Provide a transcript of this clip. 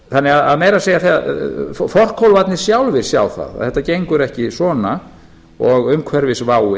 þannig að meira að segja forkólfarnir sjálfir sjá að þetta gengur ekki svona og umhverfisváin gróðurhúsaáhrifin loftslagsbreytingarnar eru